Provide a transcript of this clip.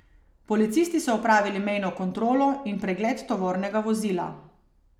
Policisti so opravili mejno kontrolo in pregled tovornega vozila.